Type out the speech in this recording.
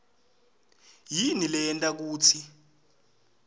yini leyenta kutsi